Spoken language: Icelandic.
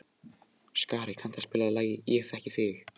Skari, kanntu að spila lagið „Ég þekki þig“?